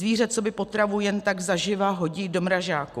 Zvíře coby potravu jen tak zaživa hodí do mrazáku.